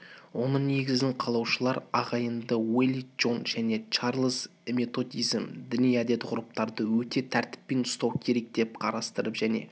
оның негізін қалаушылар ағайынды уэли джон және чарльз методизм діни әдет-ғұрыптарды өте тәртіппен ұстау керек деп қарастырып және